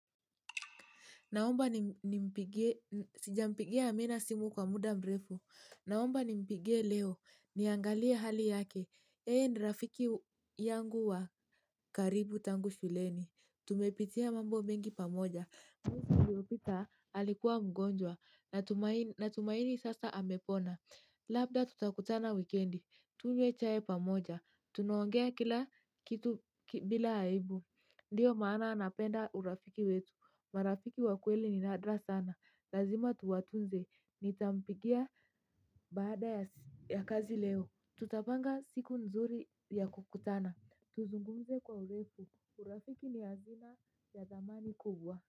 Naomba ni mpigie, sijampigia amina simu kwa muda mrefu. Naomba ni mpigie leo, niangalie hali yake. Yeye nrafiki yangu wa karibu tangu shuleni. Tumepitia mambo mingi pamoja. Mpilopita alikuwa mgonjwa, na tumaini sasa amepona. Labda tutakutana wikendi, tunywe chai pamoja. Tunaongea kila kitu bila haibu. Ndiyo maana anapenda urafiki wetu. Marafiki wakweli ni nadra sana, lazima tuwatunze, nitampigia baada ya kazi leo, tutapanga siku nzuri ya kukutana, tuzungumze kwa ulefu, urafiki ni hazina ya dhamani kubwa.